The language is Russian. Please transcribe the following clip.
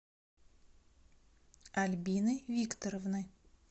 альбины викторовны